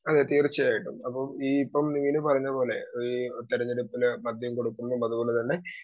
speaker 2 ആഹ് തീർച്ചയായിട്ടും അപ്പം ഈ മീനു പറഞ്ഞ പോലെ അഹ് ഈ തെരഞ്ഞെടുപ്പിൽ മദ്യം കൊടുക്കുന്നു അതുപോലെതന്നെ